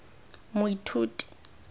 moithuti